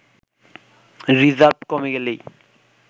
reserve কমে গেলেই